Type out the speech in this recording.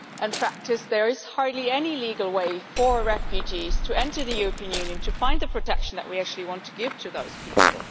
In practice, there is hardly any legal way for refugees to enter the European Union to find the protection that we actually want to give to those people.